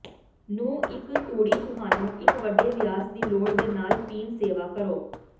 ਨੂੰ ਇੱਕ ਤੂੜੀ ਤੁਹਾਨੂੰ ਇੱਕ ਵੱਡੇ ਵਿਆਸ ਦੀ ਲੋੜ ਦੇ ਨਾਲ ਪੀਣ ਸੇਵਾ ਕਰੋ